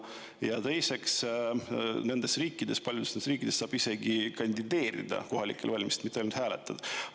Ja teiseks, nendes riikides, paljudes riikides saab isegi kandideerida kohalikel valimistel, mitte ainult hääletada.